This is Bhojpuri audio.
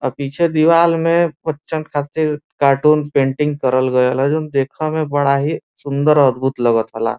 आ पीछे दीवाल में बच्चन खातिर कार्टून पेंटिंग करल गयल ह जउन देखले में बड़ा ही सुंदर अधबुद्ध लगा थाला।